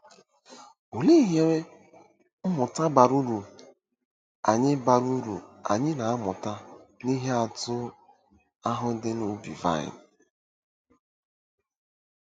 Olee ihe mmụta bara uru anyị bara uru anyị na-amụta n'ihe atụ ahụ dị n'ubi vaịn?